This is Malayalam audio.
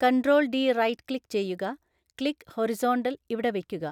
കൺട്രോൾ ഡി റൈറ്റ് ക്ലിക്ക് ചെയ്യുക ക്ലിക്ക് ഹൊറിസോൺണ്ടൽ ഇവിടെ വയ്ക്കുക.